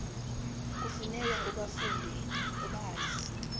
kufuneka ubafunde ubazi